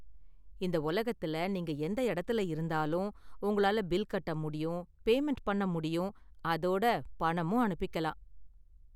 இந்த உலகத்துல நீங்க எந்த இடத்துல இருந்தாலும் உங்களால பில் கட்ட முடியும், பேமண்ட் பண்ண முடியும், அதோட பணமும் அனுப்பிக்கலாம்.